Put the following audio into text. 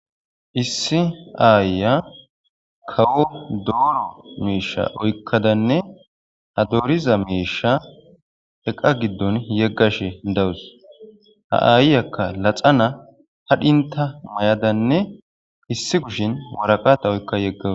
Issi ayiya kawo dooro mishsha oykkadanne ha dooriza mishsha eqqa giidon yeggashe dawussu ha ayiyaka laxxana hadhintta mayadanne issi kushshen waraqqata oykka yegawussu.